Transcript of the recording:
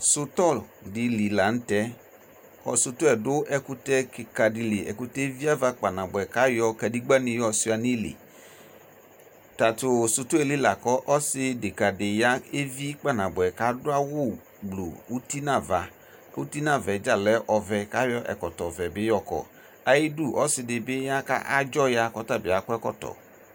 Sʋtɔ dɩlɩ lanʋ tɛ ɔdʋ ɛkʋtɛ kika dɩlɩ sʋtɔ yɛ eviava kpaa nabʋɛ kʋ ayɔ kadegbanɩ yɔ suɩa nʋ ili ɔsɩ deka dɩ ya nʋ ayili levi kpaa nabʋɛ kʋ adʋ awu gblʋʋ uti nʋ ava kʋ ɔlɛ ɔvɛ kʋ akɔ ɛkɔkɔvɛ ayu idu ɔsɩdɩbɩ adzɔya kʋ ɔtabɩ akɔ ɛkɔtɔ